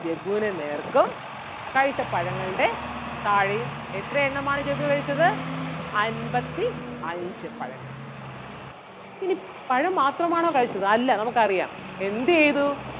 ജഗ്ഗുന് നേർക്കും കഴിച്ചപഴങ്ങളുടെ താഴെയും എത്ര എണ്ണമാണ് ജഗ്ഗു കഴിച്ചത് അൻപത്തി അഞ്ച് പഴങ്ങൾ. ഇനി പഴം മാത്രം ആണോ കഴിച്ചത് അല്ല നമുക്ക് അറിയാം എന്ത് ചെയ്തു?